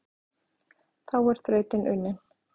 Þá er þrautin unnin,